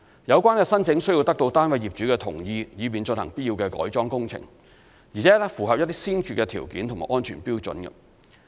有關申請須得到單位業主同意，以便進行必要的改裝工程，而且符合一些先決條件及安全標準。